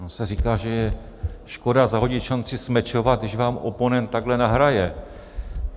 Ono se říká, že je škoda zahodit šanci smečovat, když vám oponent takhle nahraje.